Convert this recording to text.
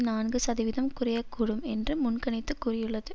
நான்கு சதவிதம் குறைய கூடும் என்று முன்கணித்துக் கூறியுள்ளது